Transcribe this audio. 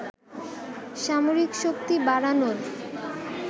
সামরিক শক্তি বাড়ানোর